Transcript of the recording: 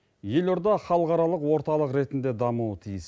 елорда халықаралық орталық ретінде дамуы тиіс